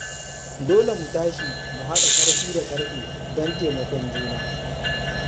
Dole mu tashi mu haɗa ƙarfi da ƙarfe don taimakon juna.